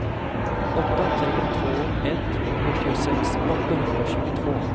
åtta tre två ett sjuttiosex åttahundratjugotvå